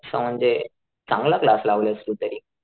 असं म्हणजे चांगला क्लास लावलाय तू तरी